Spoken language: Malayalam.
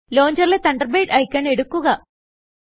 ലോഞ്ചറിലെ തണ്ടർബേർഡ് ഐക്കൺ എടുക്കുക